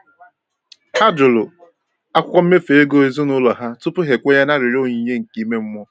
Ha jụrụ akwụkwọ mmefu ego ezinụlọ ha tupu ha ekwenye na arịrịọ onyinye nke ime mmụọ.